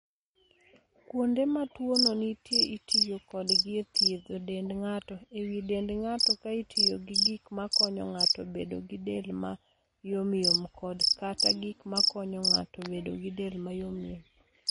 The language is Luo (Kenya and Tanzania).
Kuonde ma tuono nitie itiyo kodgi e thiedho dend ng'ato (e wi dend ng'ato) ka itiyo gi gik makonyo ng'ato bedo gi del ma yomyom kod/kata gik makonyo ng'ato bedo gi del ma yomyom.